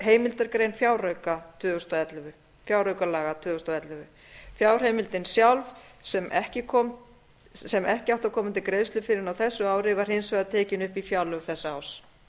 heimildargrein fjáraukalaga tvö þúsund og ellefu fjárheimildin sjálf sem ekki átti að koma til greiðslu fyrr en á þessu ári var hins vegar tekin upp í fjárlög þessa árs